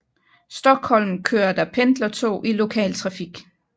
Stockholm kører der pendlertog i lokal trafik